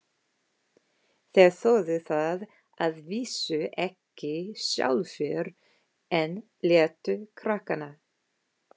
Þeir þorðu það að vísu ekki sjálfir, en létu krakkana.